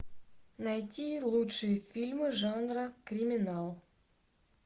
найти лучшие фильмы жанра криминал